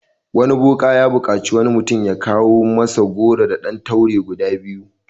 Wani boka ya buƙaci wani mutum ya kawo masa goro da ɗan taure guda biyu.